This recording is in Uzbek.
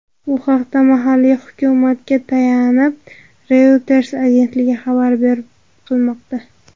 Bu haqda mahalliy hukumatga tayanib, Reuters agentligi xabar qilmoqda.